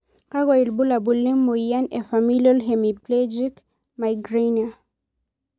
Kakwa ibulabul le moyian e Familial hemiplegic migrainer?